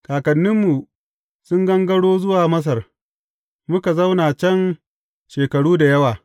Kakanninmu sun gangaro zuwa Masar, muka zauna can shekaru da yawa.